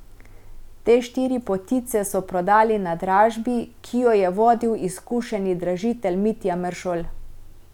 Te štiri potice so prodali na dražbi, ki jo je vodil izkušeni dražitelj Mitja Meršol.